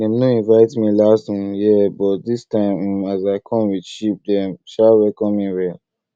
dem no invite me last um year but this um time as i come with sheep dem um welcome me well